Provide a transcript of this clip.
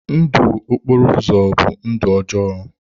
Ndụ okporo ụzọ bụ ndụ ọjọọ.